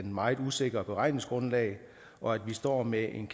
meget usikre beregningsgrundlag og at vi står med en